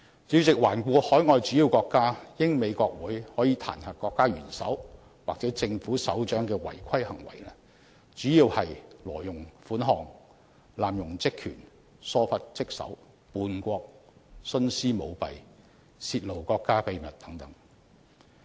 主席，環顧海外主要國家，英國和美國的國會可以就國家元首或政府首長的違規行為提出彈劾，主要是針對"挪用款項"、"濫用職權"、"疏忽職守"、"叛國"、"徇私舞弊"和"泄露國家秘密"等行為。